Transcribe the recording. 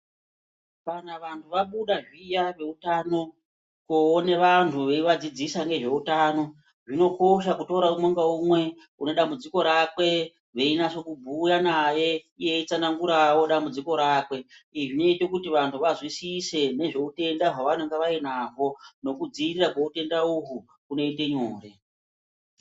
Kana vantu vabuda zviya veutano koone vantu veivadzidzisa ngezveutano zvinokosha kutora umwe ngaumwe unedambudziko rakwe, veinase kubhuya anaye iye eitsananguravo dambudziko rakwe. Izvi zvinote kuti vantu vazwisise nezveutenda hwavanenge vainaho nokudzirira kweutenda uhu kunoite nyore.